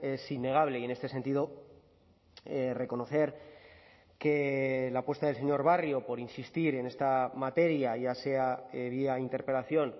es innegable y en este sentido reconocer que la apuesta del señor barrio por insistir en esta materia ya sea vía interpelación